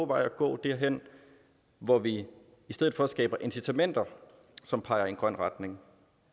vej at gå derhen hvor vi i stedet for skaber incitamenter som peger i en grøn retning